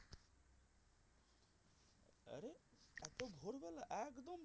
একদম একদম